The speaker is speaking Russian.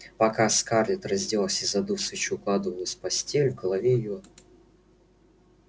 пока скарлетт раздевалась и задув свечу укладывалась в постель в голове её